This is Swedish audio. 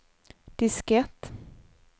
diskett